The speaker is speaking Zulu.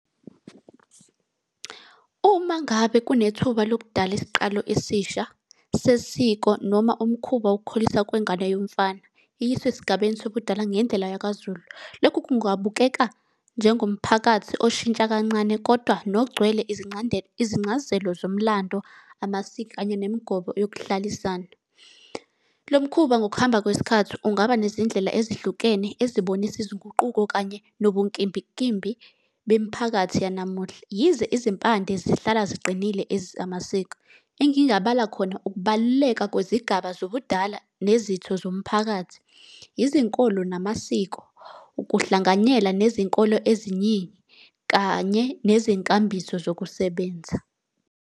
Uma ngabe kunethuba lokudala isiqalo esisha, sesiko noma umkhuba wokukhuliswa kwengane yomfana iyiswe esigabeni sobudala ngendlela yakaZulu. Lokhu kungabukeka njengomphakathi oshintsha kancane kodwa nogcwele izingcazelo zomlando, amasiko, kanye nemigomo yokuhlalisana. Lo mkhuba ngokuhamba kwesikhathi ungaba nezindlela ezihlukene ezibonisa izinguquko kanye nobunkimbinkimbi bemiphakathi yanamuhla. Yize izimpande zihlala ziqinile ezamasiko, engingabala khona ukubaluleka kwezigaba zobudala, nezitho zomphakathi. izinkolo namasiko, ukuhlanganyela nezinkolo eziningi, kanye nezinkambiso zokusebenza.